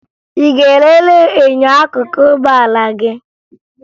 Ị ga-elele enyo akụkụ ụgbọala gị?